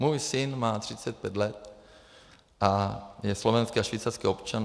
Můj syn má 35 let a je slovenský a švýcarský občan.